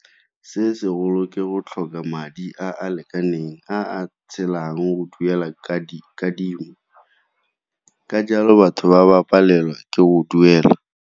Se segolo ke go tlhoka madi a a lekaneng, a a tshelang go duela kadimo, ka jalo batho ba ba palelwa ke go duela.